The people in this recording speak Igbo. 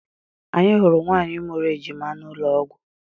Anyị hụrụ nwaanyị mụrụ ejima n'ụlọọgwụ.